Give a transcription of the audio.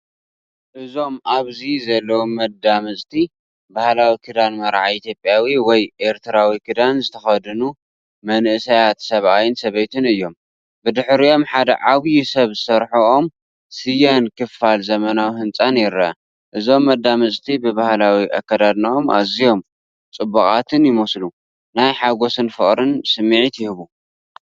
እዞም ኣብዚ ዘለዉ መጻምድቲ፡ ባህላዊ ክዳን መርዓ ኢትዮጵያዊ ወይ ኤርትራዊ ክዳን ዝተኸድኑ መንእሰያት ሰብኣይን ሰበይትን እዮም። ብድሕሪኦም ሓደ ዓቢ ሰብ ዝሰርሖ ኦም ስየን ክፋል ዘመናዊ ህንጻን ይርአ። እዞም መጻምድቲ ብባህላዊ ኣከዳድናኦም ኣዝዮም ጽቡቓትይመስሉ፤ ናይ ሓጎስን ፍቕርን ስምዒት ይህቡ።